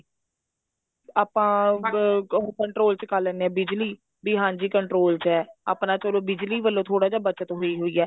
ਆਪਾਂ ਉਹ control ਚ ਕਰ ਲੈਂਦੇ ਹਾਂ ਬਿਜਲੀ ਵੀ ਹਾਂਜੀ control ਚ ਹੈ ਆਪਣਾ ਚਲੋ ਬਿਜਲੀ ਵੱਲੋਂ ਥੋੜਾ ਜਾ ਬਚਤ ਹੋਈ ਹੋਈ ਹੈ